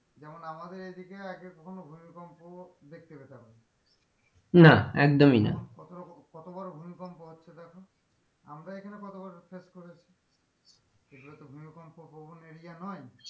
যেমন আমাদের এই দিকে আগে কখনো ভূমিকম্প দেখতে পেতাম না না একদমই না কতরকম কতবার ভূমিকম্প হচ্ছে দেখো আমরা এখানে কতবার face করেছি? এগুলো তো ভূমিকম্প প্রবন area নই।